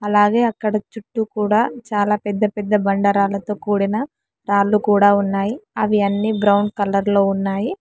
అలాగే అక్కడ చుట్టూ కూడా చాలా పెద్ద పెద్ద బండారాలతో కూడిన రాళ్లు కూడా ఉన్నాయి అవి అన్ని బ్రౌన్ కలర్ లో ఉన్నాయి.